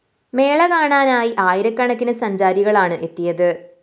മേള കാണാനായി ആയിരക്കണക്കിന് സഞ്ചാരികളാണ് എത്തിയത്